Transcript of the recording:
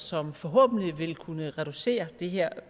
som forhåbentlig vil kunne reducere det her